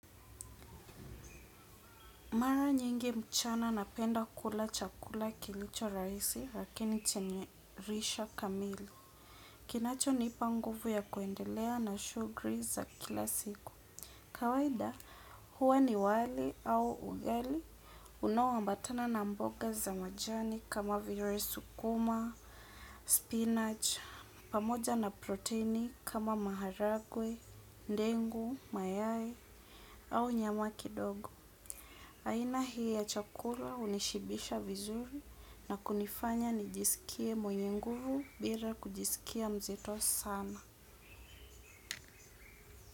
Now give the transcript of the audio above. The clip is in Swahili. Mara nyingi mchana na penda kula chakula kilicho rahisi lakini chenye risha kamili. Kinacho nipa nguvu ya kuendelea na shuguli za kila siku. Kawaida huwa ni wali au ugali unao ambatana na mboga za majani kama vile sukuma, spinach, pamoja na proteini kama maharagwe, ndengu, mayai au nyama kidogo. Aina hii ya chakula unishibisha vizuri na kunifanya nijisikie mwenye nguvu bila kujisikia mzito sana.